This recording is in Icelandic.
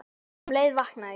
Um leið vaknaði ég.